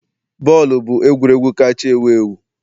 Bọọlụ bụ egwuregwu kacha ewu ewu